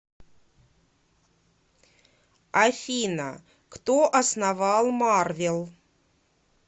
афина кто основал марвел